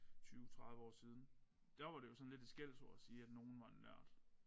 20 30 år siden der var det jo sådan lidt et skældsord at sige at nogen var en nørd